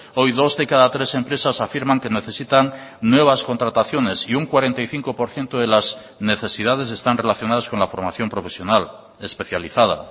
hoy dos de cada tres empresas afirman que necesitan nuevas contrataciones y un cuarenta y cinco por ciento de las necesidades están relacionadas con la formación profesional especializada